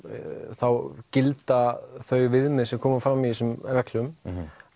þá gilda þau viðmið sem koma fram í þeim reglum